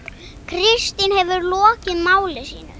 Kristín hefur lokið máli sínu.